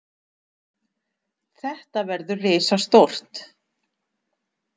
Þetta verður risastórt.